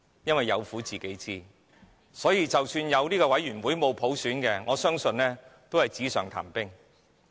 他們有苦自己知，即使設立中產事務委員會而沒有普選，我相信這個委員會也是紙上談兵罷了。